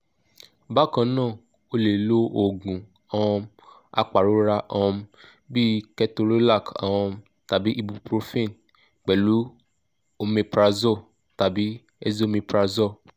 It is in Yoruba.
bákan náà o lè lo oògùn um apàrora um bíi ketorolac um tàbí ibuprofen pẹ̀lú omeprazole tàbí esomeprazole